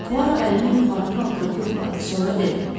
Puaro əlini yuxarı qaldırıb yoxladı, sonra dedi: